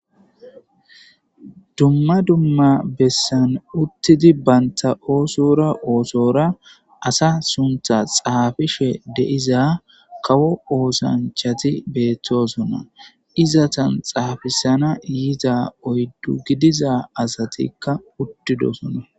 dumma dumma bessan uttidi banta oosora oosora asa suntha xaafishe de'iza kawo oosanchati beettosona izatan xaafisana yida oyddu gidiza asatikka uttidosona